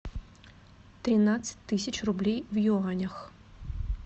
тринадцать тысяч рублей в юанях